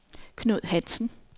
Knud Hansen